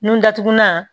Nun datugulan